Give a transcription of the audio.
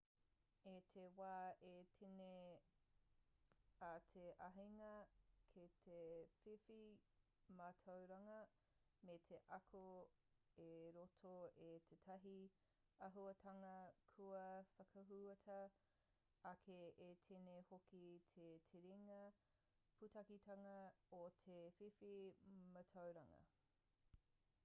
i te wā i tīni ai te āheinga ki te whiwhi mātauranga me te ako i roto i tētahi āhuatanga kua whakahuatia ake i tīni hoki te terenga pūtaketanga o te whiwhi mātauranga